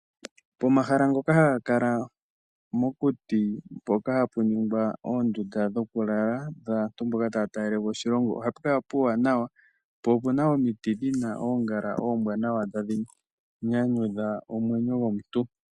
Pomahala ngoka haga kala mokuti mpoka hapu ningwa oondunda dhokulala dhaantu mboka taya talelepo oshilongo ohapu kala puuwanawa po opu na omiti dhi na oongala oombwanawa tadhi nyanyudha omwenyo gomuntu.